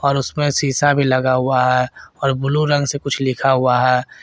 और उसमें शीशा भी लगा हुआ है और ब्लू रंग से कुछ लिखा हुआ है।